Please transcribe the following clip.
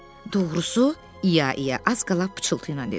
Doğrusu, i-ya i-ya az qala pıçıltı ilə dedi.